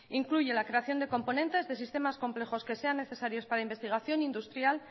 incluye la creación de componentes de sistemas complejos que sean necesarios para la investigación industrial